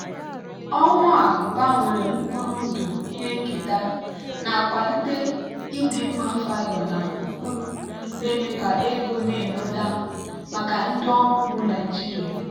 owu a gbanwere mkpụrụ ndụ ihe nketa na-akwalite ịdịmma fiber na mkpụrụ na-eme ka ego na-enweta maka ndị ọrụ ugbo naijiria.